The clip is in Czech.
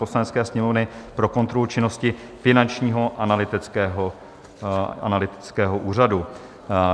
Poslanecké sněmovny pro kontrolu činnosti Finančního analytického úřadu